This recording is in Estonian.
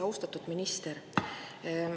Austatud minister!